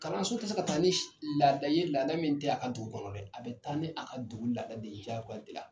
Kalanso tɛ se ka taa ni laada ye laada min tɛ a ka dugu kɔnɔ dɛ a bɛ taa ni a ka dugu laada de ye jaagoya la.